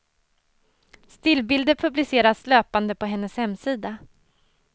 Stillbilder publiceras löpande på hennes hemsida.